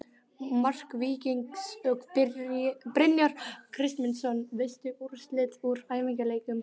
Mark Víkings: Brynjar Kristmundsson Veistu úrslit úr æfingaleikjum?